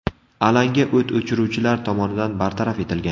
Alanga o‘t o‘chiruvchilar tomonidan bartaraf etilgan.